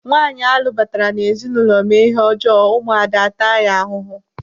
Nwaanyi alụbatara n'ezinụlọ mee ihe ọjọọ, ụmụ ada ataya ahụhụ.